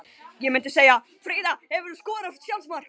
Ég myndi segja Fríða Hefurðu skorað sjálfsmark?